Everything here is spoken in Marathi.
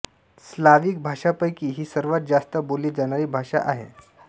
स्लाविक भाषांपैकी ही सर्वांत जास्त बोलली जाणारी भाषा आहे